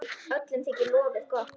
Öllum þykir lofið gott.